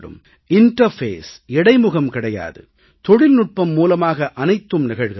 interface இடைமுகம் கிடையாது தொழில்நுட்பம் மூலமாக அனைத்தும் நிகழ்கிறது